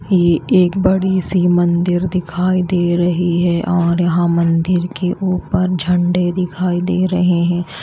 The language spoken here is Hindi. ये यह एक बड़ी सी मंदिर दिखाई दे रही है और यहां मंदिर के ऊपर झंडे दिखाई दे रहे हैं।